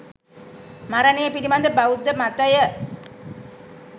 මරණය පිළිබද බෞද්ධ මතය